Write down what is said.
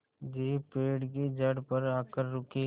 jeep पेड़ की जड़ पर आकर रुकी